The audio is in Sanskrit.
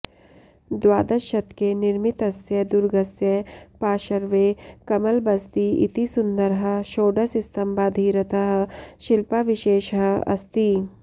द्वादशशतके निर्मितस्य दुर्गस्य पार्श्वे कमलबसदि इति सुन्दरः षोडशस्तम्भाधीरतः शिल्पाविशेषः अस्ति